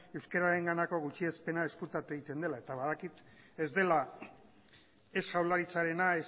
euskararenganako gutxiespena ezkutatu egiten dela eta badakit ez dela ez jaurlaritzarena